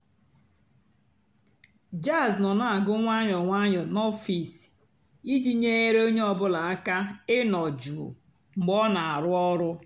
jàzz nọ́ nà-àgù ǹwànyọ́ ǹwànyọ́ n'ọ̀fị́sì ìjì nyééré ónyé ọ̀ bụ́là àká ịnọ́ jụ́ụ́ mg̀bé ọ́ nà-àrụ́ ọ̀rụ́.